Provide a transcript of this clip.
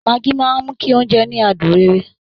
Maggi máa ń mú kí oúnjẹ ní adùn rere